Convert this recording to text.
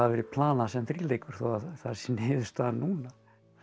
verið planað sem þríleikur þó það sé niðurstaðan núna